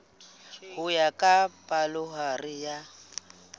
ho ya ka palohare ya